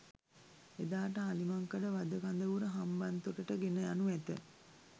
එදාට අලිමංකඩ වධ කඳවුර හම්බන්තොටට ගෙන යනු ඇත